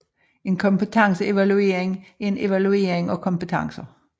En kompetenceevaluering er en evaluering af kompetencer